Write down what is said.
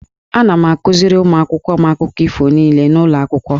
Ana m akuziri ụmụ akwụkwọ m akụkọ ifo niile n'ụlọ akwụkwọ.